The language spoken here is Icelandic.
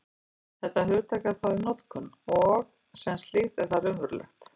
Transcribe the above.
Þetta hugtak er þó í notkun, og sem slíkt er það raunverulegt.